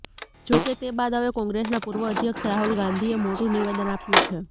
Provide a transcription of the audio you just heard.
જોકે તે બાદ હવે કોંગ્રેસના પૂર્વ અધ્યક્ષ રાહુલ ગાંધીએ મોટું નિવેદન આપ્યું છે